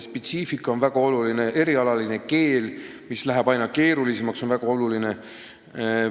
Spetsiifika on väga oluline, erialane keel, mis läheb aina keerulisemaks, on väga oluline.